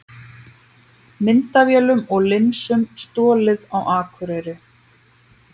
Myndavélum og linsum stolið á Akureyri